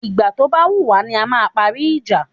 Ìgbà tó ba wùwá ni a máa parí ìjà